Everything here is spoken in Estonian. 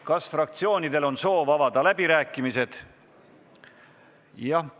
Kas fraktsioonidel on soov avada läbirääkimised?